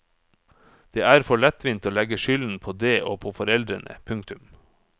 Det er for lettvint å legge skylden på det og på foreldrene. punktum